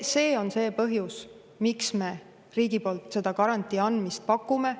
See on põhjus, miks me riigi poolt garantii andmist pakume.